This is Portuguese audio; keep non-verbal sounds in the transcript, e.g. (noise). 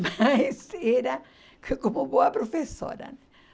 (laughs) - transcrição normal - Mas era como boa professora